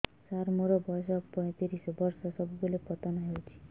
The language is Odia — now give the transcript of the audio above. ସାର ମୋର ବୟସ ପୈତିରିଶ ବର୍ଷ ସବୁବେଳେ ପତନ ହେଉଛି